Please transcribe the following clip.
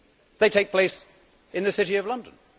They take place in the city of London.